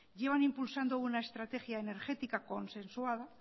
llevan impulsando una estrategia energética consensuada